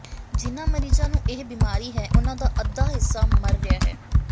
ਜਿਨ੍ਹਾਂ ਮਰੀਜ਼ਾਂ ਨੂੰ ਇਹ ਬਿਮਾਰੀ ਹੈ ਉਨ੍ਹਾਂ ਦਾ ਅੱਧਾ ਹਿੱਸਾ ਮਰ ਰਿਹਾ ਹੈ